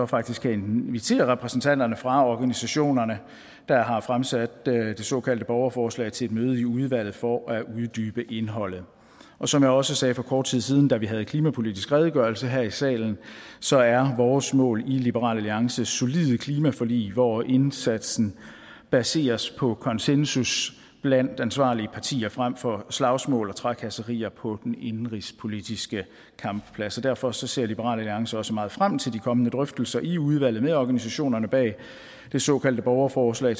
faktisk skal invitere repræsentanterne fra organisationerne der har fremsat det såkaldte borgerforslag til et møde i udvalget for at uddybe indholdet og som jeg også sagde for kort tid siden da vi havde klimapolitisk redegørelse her i salen så er vores mål i liberal alliance solide klimaforlig hvor indsatsen baseres på konsensus blandt ansvarlige partier frem for slagsmål og trakasserier på den indenrigspolitiske kampplads derfor ser liberal alliance også meget frem til de kommende drøftelser i udvalget med organisationerne bag det såkaldte borgerforslag